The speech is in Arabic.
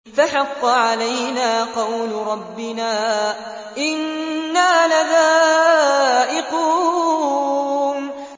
فَحَقَّ عَلَيْنَا قَوْلُ رَبِّنَا ۖ إِنَّا لَذَائِقُونَ